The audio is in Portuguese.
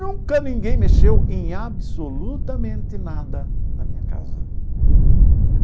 Nunca ninguém mexeu em absolutamente nada na minha casa.